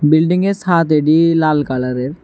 বিল্ডিংয়ের ছাদ এডি লাল কালারের।